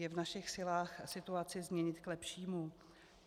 Je v našich silách situaci změnit k lepšímu?